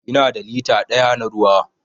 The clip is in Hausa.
Ina da lita daya na ruwa.